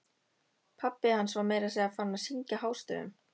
Pabbi hans var meira að segja farinn að syngja hástöfum!